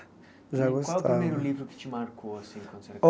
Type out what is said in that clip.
Já gostava E qual o primeiro livro que te marcou assim? O